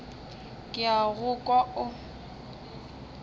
ke a go kwa o